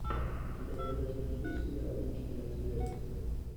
у тебя в загашнике есть сериал личные обстоятельства